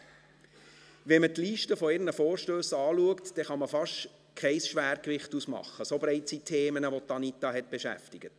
Wenn man die Liste ihrer Vorstösse anschaut, dann kann man fast kein Schwergewicht ausmachen, so breit sind die Themen, welche Anita Luginbühl beschäftigten.